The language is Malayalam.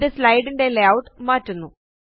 ഇത് സ്ലൈഡ് ന്റെ ലേയൂട്ട് മാറ്റുന്നു